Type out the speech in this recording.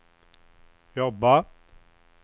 jobba